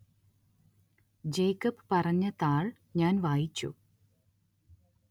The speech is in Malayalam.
ജേക്കബ് പറഞ്ഞ താള്‍ ഞാന്‍ വായിച്ചു